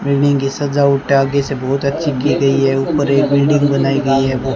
Building की सजावट आगे से बहोत अच्छी की गई है ऊपर एक बिल्डिंग बनाई गई है।